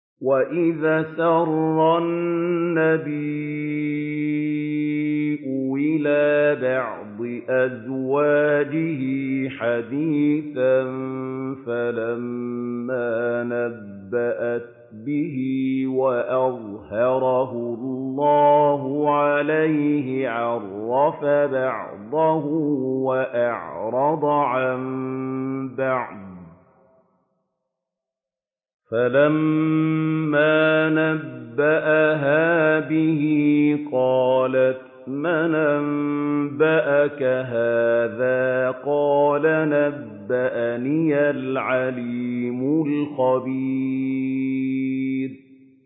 وَإِذْ أَسَرَّ النَّبِيُّ إِلَىٰ بَعْضِ أَزْوَاجِهِ حَدِيثًا فَلَمَّا نَبَّأَتْ بِهِ وَأَظْهَرَهُ اللَّهُ عَلَيْهِ عَرَّفَ بَعْضَهُ وَأَعْرَضَ عَن بَعْضٍ ۖ فَلَمَّا نَبَّأَهَا بِهِ قَالَتْ مَنْ أَنبَأَكَ هَٰذَا ۖ قَالَ نَبَّأَنِيَ الْعَلِيمُ الْخَبِيرُ